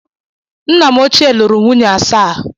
Nna m ochie lụrụ nwunye asaa.